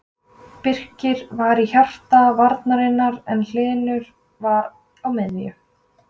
Birkir var í hjarta varnarinnar en Hlynur var á miðjunni.